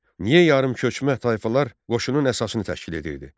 Niyə yarımköçmə tayfalar qoşunun əsasını təşkil edirdi?